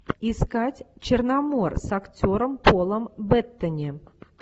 искать черномор с актером полом беттани